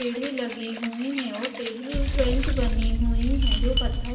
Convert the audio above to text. सीढ़ी लगी हुई हैं और टेबल बेंच बनी हुई हैं जो कथाई--